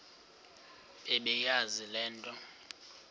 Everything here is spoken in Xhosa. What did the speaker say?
bebeyazi le nto